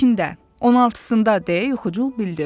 16-sında deyə yuxucul bildirdi.